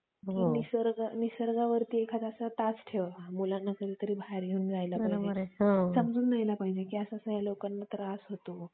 मी ना मी बघितली आहे तुम्ही काय करा माहिती आहे का KGF movie बघा.